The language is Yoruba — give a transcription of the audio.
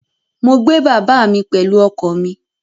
Mo gbé bàbá mi pẹ̀lú ọkọ̀ mi